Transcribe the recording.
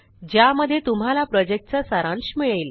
ज्यामध्ये तुम्हाला प्रॉजेक्टचा सारांश मिळेल